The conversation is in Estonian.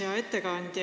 Hea ettekandja!